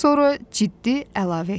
Sonra ciddi əlavə etdi.